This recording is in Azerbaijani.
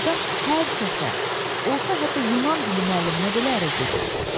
Adam hər kəsə, olsa hətta Yunan dili müəlliminə belə ərə gedər.